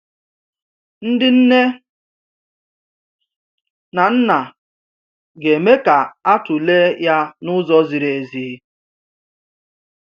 Ndị nne na nna ga-eme ka a tụlee ya n’ụzọ ziri ziri ezi.